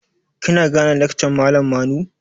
Kina gane lakcan malam Manu?